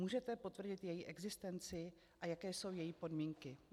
Můžete potvrdit její existenci, a jaké jsou její podmínky?